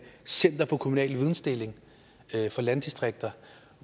center for kommunal vidensdeling for landdistrikter